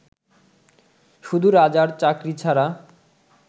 শুধু রাজার চাকরী ছাড়া